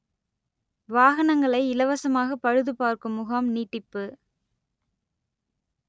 வாகனங்களை இலவசமாக பழுது பார்க்கும் முகாம் நீட்டிப்பு